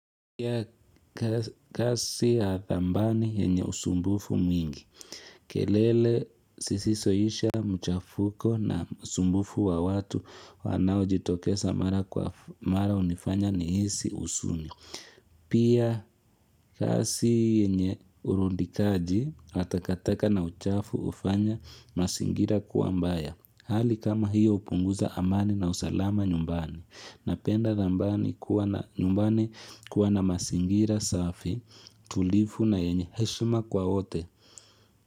Pia kazi ya dhamani yenye usumbufu mwingi. Kelele zisizoisha mchafuko na sumbufu wa watu wanaojitokesa mara kwa mara hunifanya nihisi husuni. Pia kazi yenye urudikaji na takataka na uchafu hufanya mazingira kuwa mbaya. Hali kama hiyo hupunguza amani na usalama nyumbani. Napenda dhambani kuwa na nyumbani kuwa na mazingira safi tulivu na yenye heshima kwa wote.